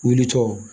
Wuli tɔ